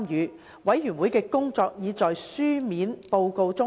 事務委員會的工作已在書面報告中詳細交代。